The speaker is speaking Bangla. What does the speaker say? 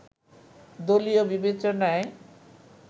দলীয় বিবেচনায়